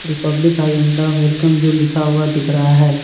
Republic हायोंडा welcome you लिखा हुआ दिख रहा है।